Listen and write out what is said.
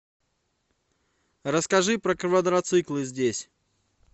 расскажи про квадроциклы здесь